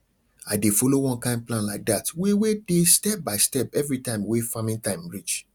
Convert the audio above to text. i dey follow one kind plan like dat wey wey dey step by step everytime wey farming time reach